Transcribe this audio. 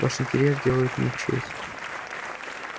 ваш интерес делает мне честь